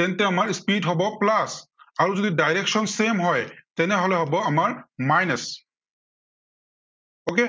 তেন্তে আমাৰ speed হব plus আৰু যদি direction same হয়, তেনেহলে হব আমাৰ minus okay,